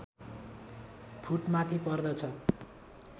foot माथि पर्दछ